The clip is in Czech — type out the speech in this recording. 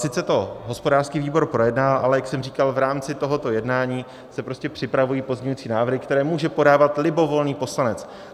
Sice to hospodářský výbor projednal, ale jak jsem říkal, v rámci tohoto jednání se prostě připravují pozměňovací návrhy, které může podávat libovolný poslanec.